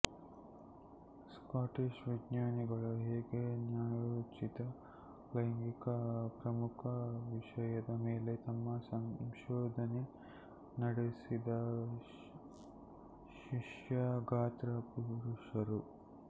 Scottish ವಿಜ್ಞಾನಿಗಳ ಹೇಗೆ ನ್ಯಾಯೋಚಿತ ಲೈಂಗಿಕ ಪ್ರಮುಖ ವಿಷಯದ ಮೇಲೆ ತಮ್ಮ ಸಂಶೋಧನೆ ನಡೆಸಿದ ಶಿಶ್ನ ಗಾತ್ರ ಪುರುಷರು